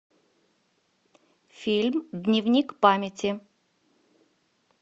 фильм дневник памяти